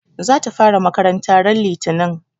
Za ta fara makaranta ran litinin